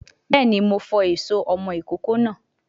Béèni, Mo fọ èso ọmọ ìkókó náà